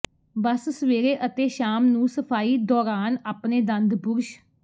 ਬਸ ਸਵੇਰੇ ਅਤੇ ਸ਼ਾਮ ਨੂੰ ਸਫਾਈ ਦੌਰਾਨ ਆਪਣੇ ਦੰਦ ਬੁਰਸ਼